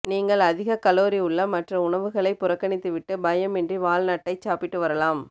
நீங்கள் அதிகக் கலோரி உள்ள மற்ற உணவுகளைப் புறக்கணித்து விட்டு பயமின்றி வால்நட்டைச் சாப்பிட்டு வரலாம்